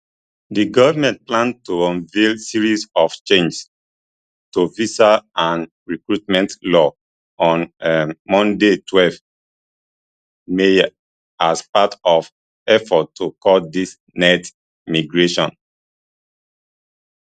di goment plan to unveil series of changes tovisa and recruitment laws on um monday twelve mayas part of efforts to cut dis net migration